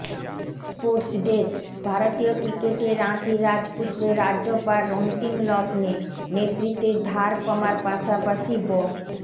sports desk ভারতীয় ক্রিকেটে রাঁচির রাজপুত্রের রাজ্যপাঠ অন্তিমলগ্নে নেতৃত্বের ধার কমার পাশাপাশি ব্য